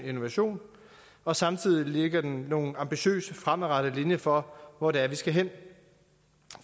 innovation og samtidig lægger den nogle ambitiøse fremadrettede linjer for hvor det er vi skal hen